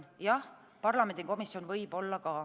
Jah, parlamendikomisjon võib olla ka.